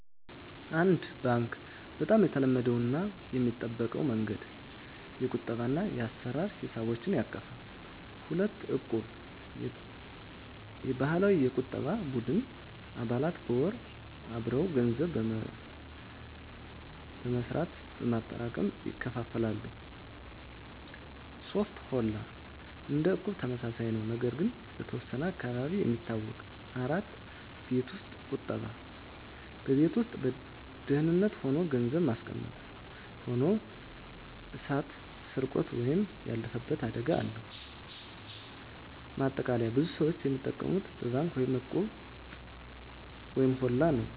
1. ባንክ (Bank) - በጣም የተለመደው እና የሚጠበቀው መንገድ። የቁጠባ እና የአሰራ ሂሳቦችን ያቀፈ። 2. እቁብ (Equb) - የባህላዊ የቁጠባ ቡድን። አባላት በወር አበው ገንዘብ በመጠራት በማክሰሞ ይካፈላሉ። 3. ሆላ (Holla) - እንደ እቁብ ተመሳሳይ ነው፣ ነገር ግን በተወሰነ አካባቢ የሚታወቅ። 4. ቤት ውስጥ ቁጠባ (Saving at Home) - በቤት ውስጥ በደህንነት ሆኖ ገንዘብ ማስቀመጥ። ሆኖ እሳት፣ ስርቆት ወይም ያለፈበት አደጋ አለው። ማጠቃለያ ብዙ ሰዎች የሚጠቀሙት በባንክ እና በእቁብ/ሆላ ነው።